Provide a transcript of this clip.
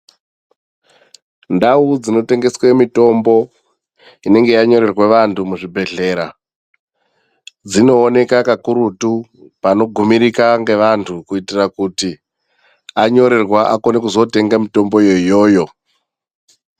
Ndau dzinotengeswe mitombo inenge yanyorerwa vantu muzvibhedhlera, dzinowoneka kakurutu panogumirika ngevantu kuyitira kuti anyorerwa akone kuzotenga mitombo yoyoyo.